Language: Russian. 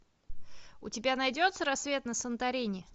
у тебя найдется рассвет на санторини